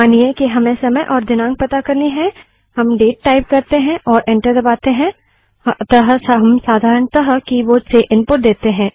मानिए कि हमें समय और दिनाँक पता करनी है हम केवल कीबोर्ड से डेट टाइप करते हैं और एंटर दबाते हैं अतः हम साधारणतः कीबोर्ड से इनपुट देते हैं